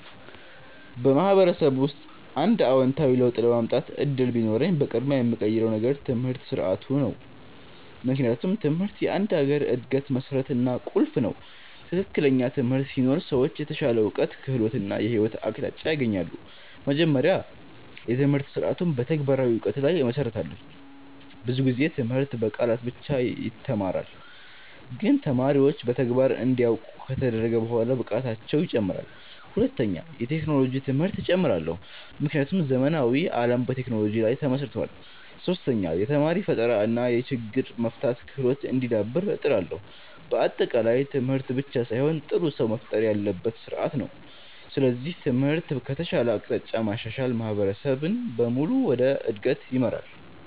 በማህበረሰብ ውስጥ አንድ አዎንታዊ ለውጥ የማምጣት እድል ቢኖረኝ፣ በቅድሚያ የምቀይረው ነገር የትምህርት ስርዓቱ ነው። ምክንያቱም ትምህርት የአንድ ሀገር እድገት መሠረት እና ቁልፍ ነው። ትክክለኛ ትምህርት ሲኖር ሰዎች የተሻለ እውቀት፣ ክህሎት እና የህይወት አቅጣጫ ያገኛሉ። መጀመሪያ፣ የትምህርት ስርዓቱን በተግባራዊ እውቀት ላይ እመሰርታለሁ። ብዙ ጊዜ ትምህርት በቃላት ብቻ ይተማራል፣ ግን ተማሪዎች በተግባር እንዲያውቁ ከተደረገ በኋላ ብቃታቸው ይጨምራል። ሁለተኛ፣ የቴክኖሎጂ ትምህርት እጨምራለሁ፣ ምክንያቱም ዘመናዊ ዓለም በቴክኖሎጂ ላይ ተመስርቷል። ሶስተኛ፣ የተማሪ ፈጠራ እና የችግር መፍታት ክህሎት እንዲዳብር እጥራለሁ። በአጠቃላይ ትምህርት ብቻ ሳይሆን ጥሩ ሰው መፍጠር ያለበት ስርዓት ነው። ስለዚህ ትምህርትን ከተሻለ አቅጣጫ ማሻሻል ማህበረሰብን በሙሉ ወደ እድገት ይመራል።